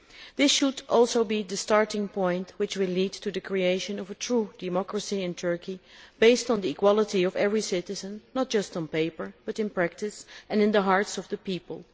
This should also be the starting point which will lead to the creation of a true democracy in Turkey based on the equality of every citizen, not just on paper but in practice and in the hearts of the people.